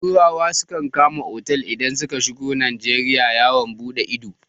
Turawa sukan kama otal idan suka shigo Najeriya yawon buɗe ido.